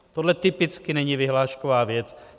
Tohle typicky není vyhlášková věc.